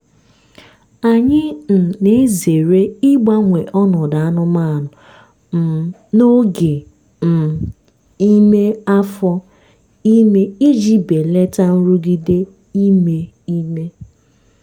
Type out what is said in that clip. anyị um na-ezere ịgbanwe ọnọdụ anụmanụ um n'oge um ime afọ ime iji belata nrụgide ime ime.